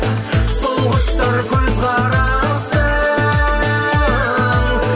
сол құштар көзқарасың